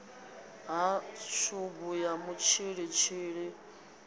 ha tshubu ya mutshilitshili vhua